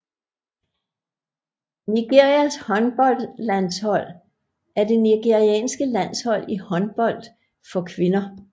Nigerias håndboldlandshold er det nigerianske landshold i håndbold for kvinder